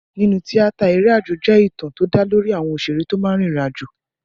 Nínú tíátà, eré àjò jẹ́ ìtàn tó dá lórí àwọn òṣèré tó máa ń lọ rin ìrìn àjò.